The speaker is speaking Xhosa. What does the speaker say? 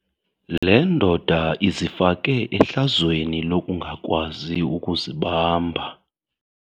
Le ndoda izifake ehlazweni lokungakwazi ukuzibamba.